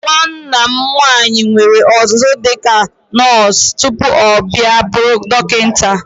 Nwanna m nwaanyị nwere ọzụzụ dịka nọọsụ tupu ọ bịa bụrụ dọkịta.